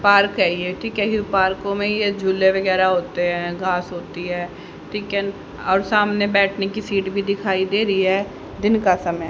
park है ये ठीक है ये पार्को में ये झूले वगैरा होते हैं घास होती है ठीक है और सामने बैठने की सीट भी दिखाई दे रही है दिन का समय --